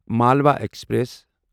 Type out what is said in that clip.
Malwa express